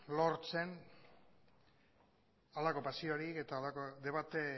lortzen halako pasiorik eta debate